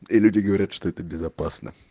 и люди говорят что это безопасно